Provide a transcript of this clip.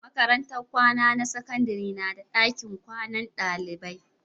Makarantar kwana na sakandare na da dakin kwanan dalibai